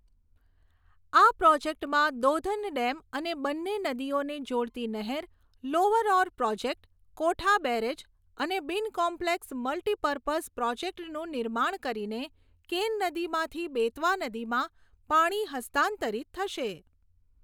આ પ્રોજેક્ટમાં દૌધન ડેમ અને બંને નદીઓને જોડતી નહેર, lower Orr project, Kotha barrage અને બીન કોમ્પ્લેક્સ મલ્ટિપર્પર્ઝ પ્રોજેક્ટનું નિર્માણ કરીને કેન નદીમાંથી બેતવા નદીમાં પાણી હસ્તાંતરિત થશે.